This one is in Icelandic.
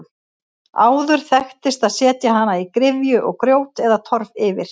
Áður þekktist að setja hana í gryfju og grjót eða torf yfir.